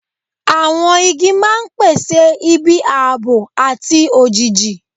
Àwọn igi máa ń pèsè ibi ààbò àti òjìji.